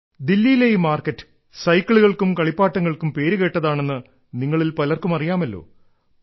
ദില്ലിയിലെ ഈ മാർക്കറ്റ് സൈക്കിളുകൾക്കും കളിപ്പാട്ടങ്ങൾക്കും പേരുകേട്ടതാണെന്ന് നിങ്ങളിൽ പലർക്കും അറിയാമല്ലോ